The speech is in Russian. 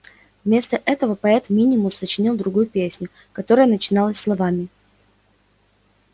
вместо этого поэт минимус сочинил другую песню которая начиналась словами